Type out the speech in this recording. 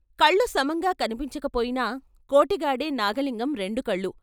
కళ్ళు సమంగా కన్పించకపోయినా కోటిగాడే నాగలింగం రెండుకళ్ళూ.